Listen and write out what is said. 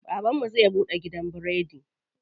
Baban mu zai buɗe gidan biredi.